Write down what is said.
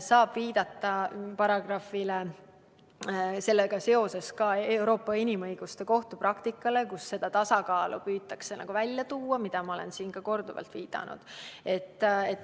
Saab viidata paragrahvile, sellega seoses ka Euroopa Inimõiguste Kohtu praktikale, kus püütakse seda tasakaalu välja tuua, millele ma olen siin korduvalt viidanud.